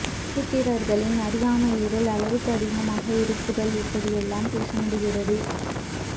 சூத்திரர்களின் அறியாமை இருள் அளவுக்கு அதிகமாக இருப்புதால் இப்படி எல்லாம் பேச முடிகிறது